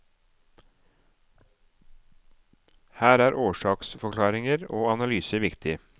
Her er årsaksforklaringer og analyse viktig.